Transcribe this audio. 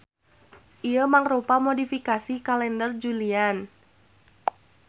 Ieu mangrupa modifikasi Kalender Julian.